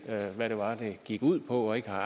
hvad det var det gik ud på og ikke har